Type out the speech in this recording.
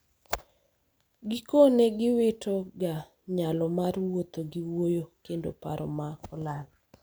gikone giwito ga nyalo mar wuotho gi wuoyo kendo paro ma olal